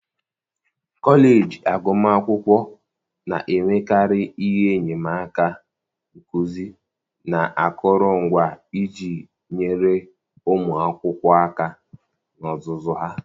kọleji agụmakwụkwọ na-enwekarị ihe enyemaka nkuzi na akụrụngwa iji nyere ụmụ akwụkwọ aka na ọzụzụ ha.